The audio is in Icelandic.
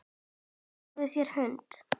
Fáðu þér hund.